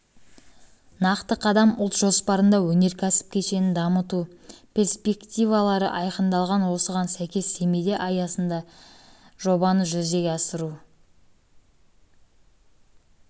нақты қадам ұлт жоспарында өнеркәсіп кешенін дамыту перспективалары айқындалған осыған сәйкес семейде аясында жобаны жүзеге асыру